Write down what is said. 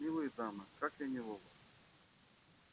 милые дамы как я неловок